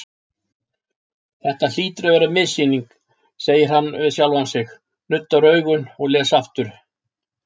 Þetta hlýtur að vera missýning, segir hann við sjálfan sig, nuddar augun og les aftur.